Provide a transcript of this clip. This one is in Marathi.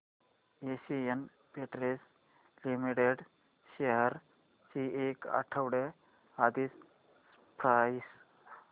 एशियन पेंट्स लिमिटेड शेअर्स ची एक आठवड्या आधीची प्राइस